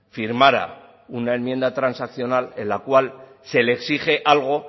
firmará una enmienda transaccional en la cual se le exige algo